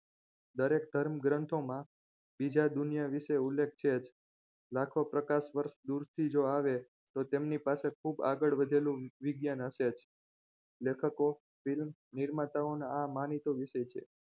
દરેક ધર્મગ્રંથોમાં બીજા દુનિયા વિશે ઉલ્લેખ છે જ લાખો પ્રકાશ વર્ષ દૂરથી જ આવે તો તેમની પાસે ખૂબ આગળ વધેલું વિજ્ઞાન હશે જ લેખકો નિર્માતાના આ માનીતો વિષય છે